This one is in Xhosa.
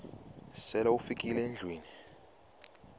sele ufikile endlwini